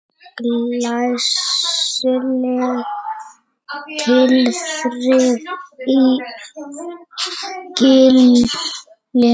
Glæsileg tilþrif í Gilinu